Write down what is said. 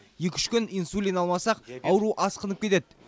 екі үш күн инсулин алмасақ ауру асқынып кетеді